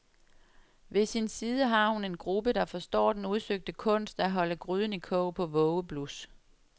Ved sin side har hun en gruppe, der forstår den udsøgte kunst at holde gryden i kog på vågeblus.